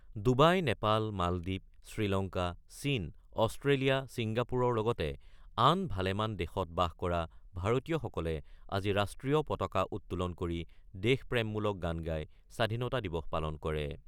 Dubai, Nepal, মালদ্বীপ, শ্ৰীলংকা, চীন, Australia, চিংগাপুৰৰ লগতে আন ভালেমান দেশত বাস কৰা ভাৰতীয়সকলে আজি ৰাষ্ট্ৰীয় পতাকা উত্তোলন কৰি দেশপ্ৰেমমূলক গান গাই স্বাধীনতা দিৱস পালন কৰে।